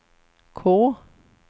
K